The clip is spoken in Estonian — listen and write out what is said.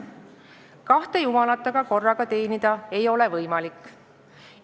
Kahte jumalat aga korraga teenida ei ole võimalik.